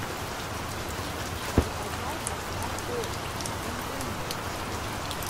заказать доставку на дом пельменей